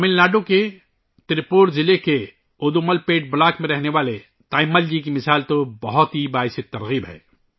تمل ناڈو کے تریپور ضلع کے ادومل پیٹ بلاک میں رہنے والی تایمّل جی کی مثال بہت متاثر کن ہے